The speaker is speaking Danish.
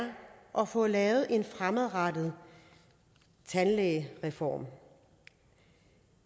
og får lavet en fremadrettet tandlægereform